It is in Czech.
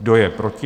Kdo je proti?